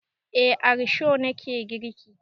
Eh a risho na ke girki.